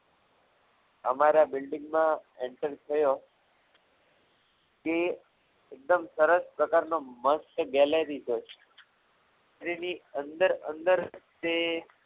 અમારા building માં enter થયો કે એકદમ સરસ પ્રકારનો મસ્ત gallery છે એની અંદર અંદર જે